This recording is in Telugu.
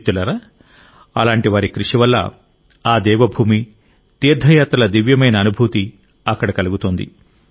మిత్రులారా అలాంటి వారి కృషి వల్ల ఆ దేవ భూమి తీర్థయాత్రల దివ్యమైన అనుభూతి అక్కడ కలుగుతోంది